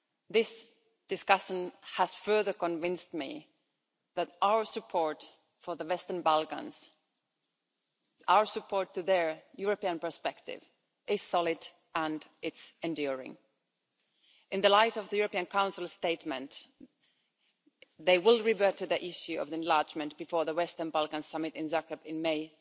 This discussion has further convinced me that our support for the Western Balkans, our support for their European perspective, is solid and enduring. In the light of the European Council statement, they will revert to the issue of enlargement before the Western Balkans Summit in Zagreb in May